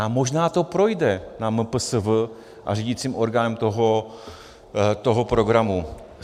A možná to projde na MPSV a řídícím orgánu toho programu.